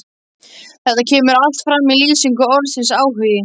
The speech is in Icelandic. Þetta kemur allt fram í lýsingu orðsins áhugi: